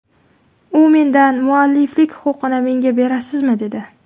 U mendan mualliflik huquqini menga berasizmi, dedi.